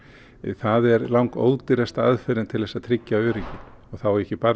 það er langódýrasta aðferðin til að tryggja öryggi og þá ég ekki bara